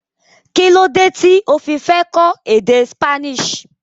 Kílódé tí o fi fẹ́ kọ́ èdè Spanish.